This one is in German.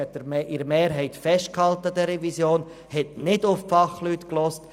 Die GSoK hat mehrheitlich an der Revision festgehalten und nicht auf die Fachleute gehört.